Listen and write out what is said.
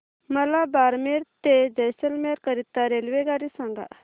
मला बारमेर ते जैसलमेर करीता रेल्वेगाडी सांगा